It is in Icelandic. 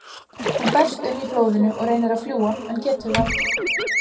Hún berst um í blóðinu og reynir að fljúga en getur það ekki.